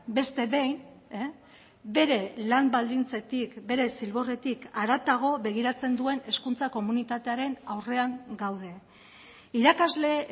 beste behin bere lan baldintzetik bere zilborretik haratago begiratzen duen hezkuntza komunitatearen aurrean gaude irakasle